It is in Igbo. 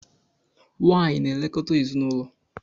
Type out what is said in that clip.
Nwanyị na-elekọta ezinaụlọ.